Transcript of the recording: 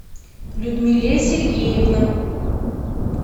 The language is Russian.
людмиле сергеевна